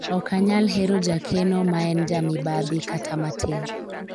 ok anyal hero jakeno ma en jamibadhi kata matin